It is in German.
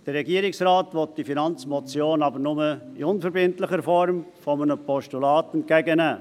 Der Regierungsrat will die Finanzmotion nur in der unverbindlichen Form eines Postulats entgegennehmen.